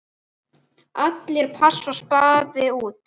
Allir pass og spaði út.